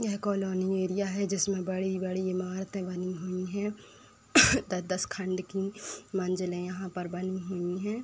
यह colony area है जिसमें बड़ी-बड़ी इमारतें बनी हुई हैं दस-दस खंड की मंजिलें यहाँ पर बनी हुई हैं।